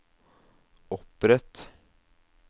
opprett